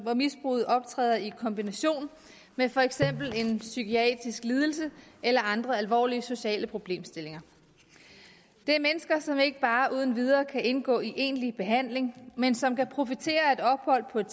hvor misbruget optræder i kombination med for eksempel en psykiatrisk lidelse eller andre alvorlige sociale problemstillinger det er mennesker som ikke bare uden videre kan indgå i egentlig behandling men som kan profitere af et ophold på et